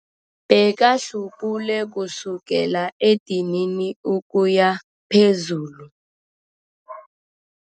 Bekahlubule kusukela edinini ukuya phezulu.